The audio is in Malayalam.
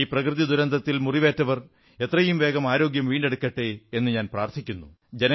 ഈ പ്രകൃതി ദുരന്തത്തിൽ മുറിവേറ്റവർ എത്രയും വേഗം ആരോഗ്യം വീണ്ടെടുക്കട്ടെ എന്നു ഞാൻ പ്രാർഥിക്കുന്നു